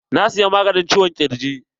Na siyi maganin ciwon ƙirji.